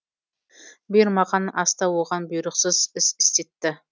бұйырмаған аста оған бұйрықсыз іс істетті